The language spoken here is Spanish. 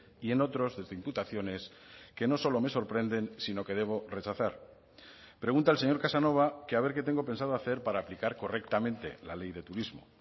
y en otros desde imputaciones que no solo me sorprenden sino que debo rechazar pregunta el señor casanova que a ver que tengo pensado hacer para aplicar correctamente la ley de turismo